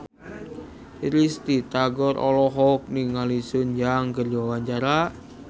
Risty Tagor olohok ningali Sun Yang keur diwawancara